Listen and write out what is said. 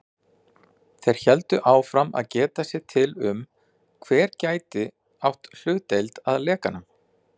Þeir héldu áfram að geta sér til um, hver gæti átt hlutdeild að lekanum.